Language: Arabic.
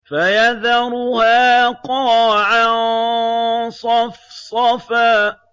فَيَذَرُهَا قَاعًا صَفْصَفًا